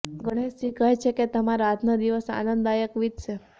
ગણેશજી કહે છે કે તમારો આજનો દિવસ આનંદદાયક વીતશે